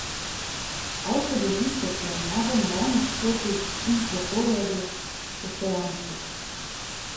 Avto drvi čez planjavo naravnost proti Unproforjevi postojanki.